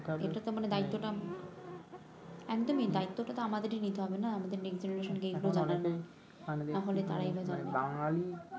এটাতো দায়িত্ব টা একদমই দায়িত্ব টা তো আমাদেরই নিতে হবে না আমাদের কে এগুলা বলা লাগবে তাহলে তারাই বা জানবে কিভাবে